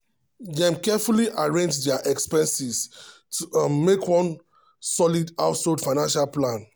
dem carefully arrange dia expenses to um make one solid household financial plan.